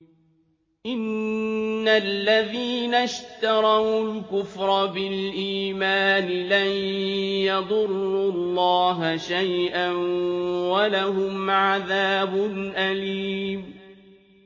إِنَّ الَّذِينَ اشْتَرَوُا الْكُفْرَ بِالْإِيمَانِ لَن يَضُرُّوا اللَّهَ شَيْئًا وَلَهُمْ عَذَابٌ أَلِيمٌ